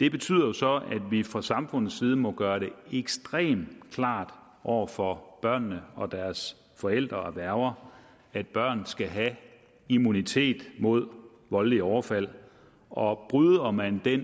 det betyder så at vi fra samfundets side må gøre det ekstremt klart over for børnene og deres forældre og værger at børn skal have immunitet mod voldelige overfald og bryder man den